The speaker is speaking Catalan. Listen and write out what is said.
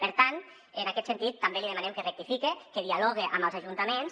per tant en aquest sentit també li demanem que rectifique que dialogue amb els ajuntaments